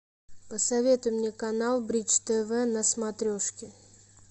посоветуй мне канал бридж тв на смотрешке